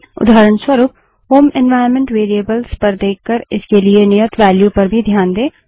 उदाहरणस्वरूप home environment variables पर देखकर इसके लिए नियत वेल्यू पर भी ध्यान दें